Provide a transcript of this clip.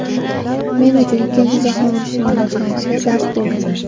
Men uchun Ikkinchi jahon urushining boshlanishi dars bo‘lgan.